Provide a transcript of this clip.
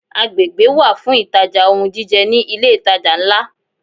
Agbègbè wà fún ìtajà ohun jíjẹ ní ilé ìtajà ńlá.